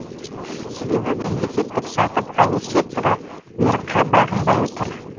себебі мемлекеттік сатып алу секторы бұйырыққа бағынбай тұр